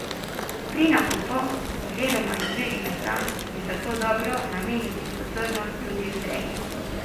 Pri nakupu oziroma izbiri mesa je zato dobro nameniti pozornost tudi vzreji.